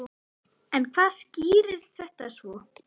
Hvar mun þetta enda?